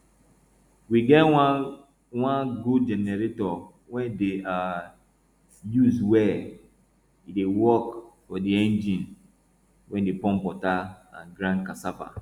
we get one one good generator wey dey um use well e dey work for di engine wey dey pump water and grind cassava